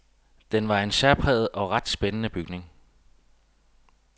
Den var en særpræget og ret spændende bygning.